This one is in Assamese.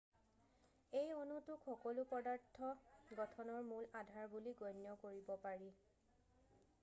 এই অণুটোক সকলো পদাৰ্থ গঠনৰ মূল আধাৰ বুলি গণ্য কৰিব পাৰি